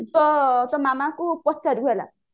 ତୋ ତୋ ମାମାଙ୍କୁ ପଚାରିବୁ ହେଲା